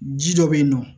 Ji dɔ be yen nɔ